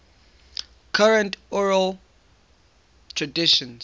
current oral traditions